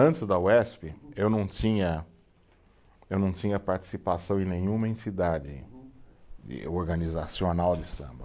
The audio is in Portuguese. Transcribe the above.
Antes da Uesp, eu não tinha, eu não tinha participação em nenhuma entidade de, organizacional de samba.